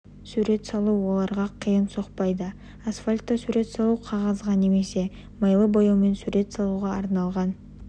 сурет салу оларға қиынға соқпайды асфальтта сурет салу қағазға немесе майлы бояумен сурет салуға арналған